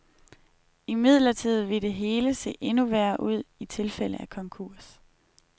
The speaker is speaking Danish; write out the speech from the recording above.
Imidlertid ville det hele se endnu værre ud i tilfælde af konkurs.